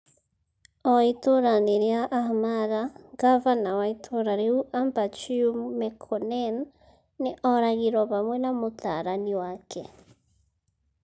O itũũra-inĩ rĩa Ahmara, ngavana wa itũũra rĩu Ambachew Mekonnen nĩ oragirũo hamwe na mũtaarani wake.